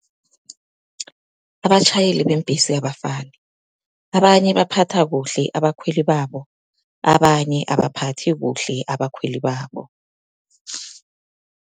Abatjhayeli beembhesi abafani, abanye baphatha kuhle abakhweli babo, abanye abaphathi kuhle abakhweli babo.